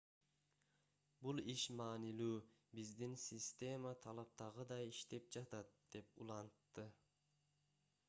бул иш маанилүү биздин система талаптагыдай иштеп жатат - деп улантты